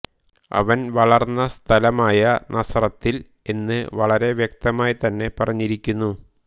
അവൻ വളർന്ന സ്ഥലമായ നസറത്തിൽ എന്ന് വളരെ വ്യക്തമായിത്തന്നെ പറഞ്ഞിരിക്കുന്നു